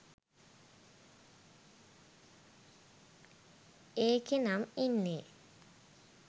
ඒකෙනම් ඉන්නෙ